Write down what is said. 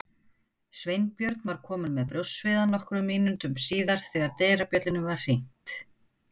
Sveinbjörn var kominn með brjóstsviða nokkrum mínútum síðar þegar dyrabjöllunni var hringt.